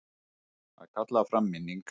Að kalla fram minningar